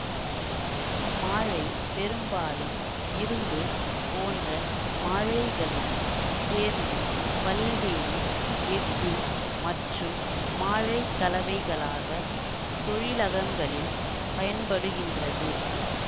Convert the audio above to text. இம்மாழை பெரும்பாலும் இரும்பு போன்ற மாழைகளுடன் சேர்ந்து பல்வேறு எஃகு மற்றும் மாழைக்கலைவைகளாக தொழிலகங்களில் பயன்படுகின்றது